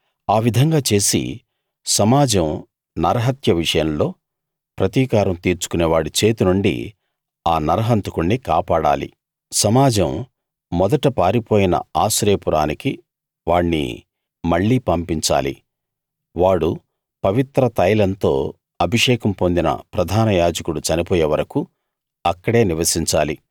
ఆ విధంగా చేసి సమాజం నరహత్య విషయంలో ప్రతికారం తీర్చుకునే వాడి చేతి నుండి ఆ నరహంతకుణ్ణి కాపాడాలి సమాజం మొదట పారిపోయిన ఆశ్రయపురానికి వాణ్ణి మళ్ళీ పంపించాలి వాడు పవిత్ర తైలంతో అభిషేకం పొందిన ప్రధాన యాజకుడు చనిపోయే వరకూ అక్కడే నివసించాలి